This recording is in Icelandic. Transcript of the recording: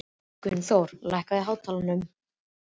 Gunnþór, lækkaðu í hátalaranum.